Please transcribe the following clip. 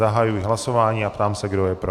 Zahajuji hlasování a ptám se, kdo je pro.